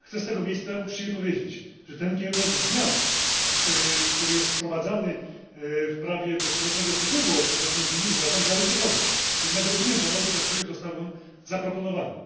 Chcę z tego miejsca uczciwie powiedzieć, że ten kierunek zmian, który jest wprowadzany w prawie do swobodnego przepływu osób wewnątrz Unii, uważam za ryzykowny, jednak rozumiem powody, dla których został on zaproponowany.